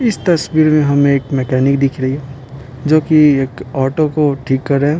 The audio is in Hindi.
इस तस्वीर में हमें एक मैकेनिक दिख रही हैजो कि एक ऑटो को ठीक कर रहा है।